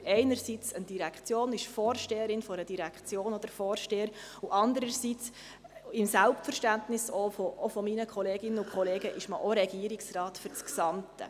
Man führt einerseits eine Direktion, ist Vorsteherin oder Vorsteher einer Direktion, und andererseits – auch im Selbstverständnis meiner Kolleginnen und Kollegen – ist man auch Regierungsrat für das Gesamte.